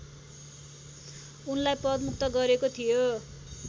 उनलाई पदमुक्त गरेको थियो